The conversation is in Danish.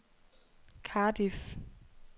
Cardiff